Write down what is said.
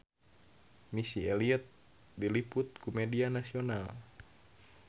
Missy Elliott diliput ku media nasional